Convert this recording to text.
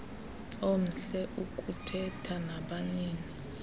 omhle ukuthetha nabanini